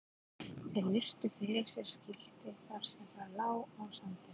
Þeir virtu fyrir sér skiltið þar sem það lá á sandinum.